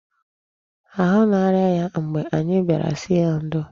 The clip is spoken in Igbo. Ahụ na-arịa ya mgbe anyị bịara sị ya ndo.